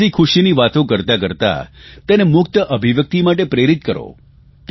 હસીખુશીની વાતો કરતાં કરતાં તેને મુક્ત અભિવ્યકિત માટે પ્રેરિક કરો